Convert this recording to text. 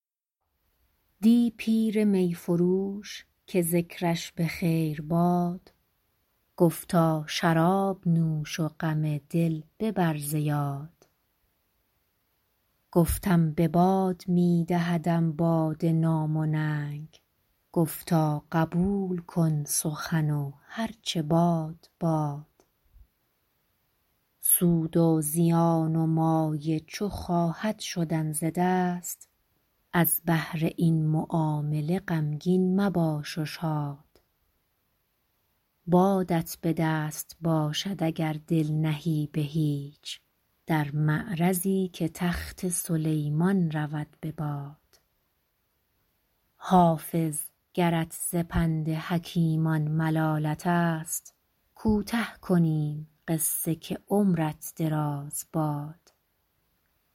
دی پیر می فروش که ذکرش به خیر باد گفتا شراب نوش و غم دل ببر ز یاد گفتم به باد می دهدم باده نام و ننگ گفتا قبول کن سخن و هر چه باد باد سود و زیان و مایه چو خواهد شدن ز دست از بهر این معامله غمگین مباش و شاد بادت به دست باشد اگر دل نهی به هیچ در معرضی که تخت سلیمان رود به باد حافظ گرت ز پند حکیمان ملالت است کوته کنیم قصه که عمرت دراز باد